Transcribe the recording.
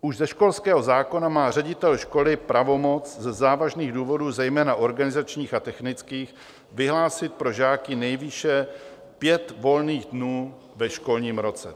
Už ze školského zákona má ředitel školy pravomoc ze závažných důvodů, zejména organizačních a technických, vyhlásit pro žáky nejvýše pět volných dnů ve školním roce.